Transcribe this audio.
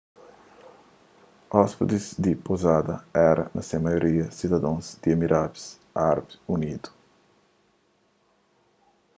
óspides di pouzada éra na se maioria sidadons di emiradus árabi unidu